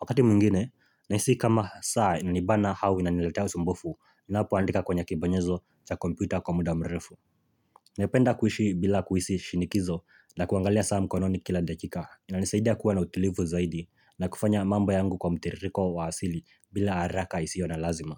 Wakati mwingine, nahisi kama saa inanibana au inaniletea usumbufu, ninapoandika kwenye kibonyezo cha kompyuta kwa muda mrefu Napenda kuishi bila kuhisi shinikizo na kuangalia saa mkononi kila dakika inanisaidia kuwa na utulivu zaidi na kufanya mambo yangu kwa mtiririko wa asili bila haraka isiyo na lazima.